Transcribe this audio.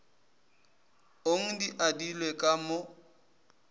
ong di adilwe ka mo